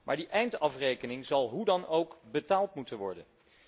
Maar die eindafrekening zal hoe dan ook betaald moeten worden.